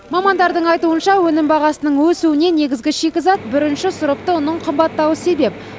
мамандардың айтуынша өнім бағасының өсуіне негізгі шикізат бірінші сұрыпты ұнның қымбаттауы себеп